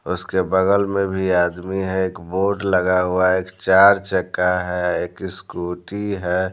उसके बगल में भी आदमी है बोट लगा हुआ है एक चार चक्का है एक स्कूटी है।